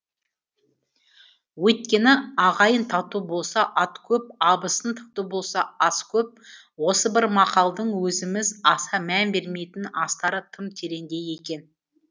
өйткені ағайын тату болса ат көп абысын тату болса ас көп осы бір мақалдың өзіміз аса мән бермейтін астары тым тереңде екен